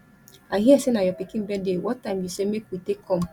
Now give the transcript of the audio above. i hear say na your pikin birthday what time you say make we take come